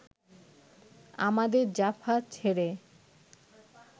আমাদের জাফা ছেড়ে